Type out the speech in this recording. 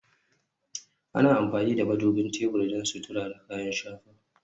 Ana amfani da madubin tebur don sutura da kayan shafa